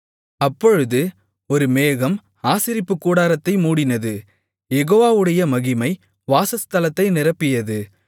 அப்பொழுது ஒரு மேகம் ஆசரிப்புக்கூடாரத்தை மூடினது யெகோவாவுடைய மகிமை வாசஸ்தலத்தை நிரப்பியது